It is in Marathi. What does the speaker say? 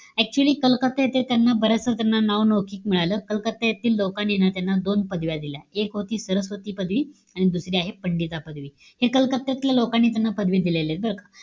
Actually कलकत्ता येथे त्यांना, बऱ्याचदा त्यांना नावलौकिक मिळालं. कलकत्ता येथील लोकांनी ना त्यांना दोन पदव्या दिल्या. एक होती सरस्वती पदवी आणि दुसरी आहे पंडिता पदवी. हे कलकत्त्यातल्या लोकांनी त्यांनी पदवी दिलेलीय बरं का.